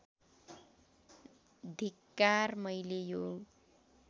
धिक्कार मैले यो